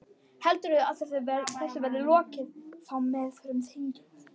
Heldurðu að þessu verði lokið þá í meðförum þingsins?